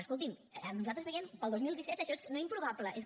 escolti’m nosaltres veiem per al dos mil disset això no improbable és que